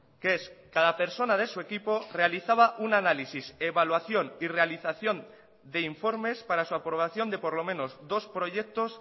que es cada persona de su equipo realizaba un análisis evaluación y realización de informes para su aprobación de por lo menos dos proyectos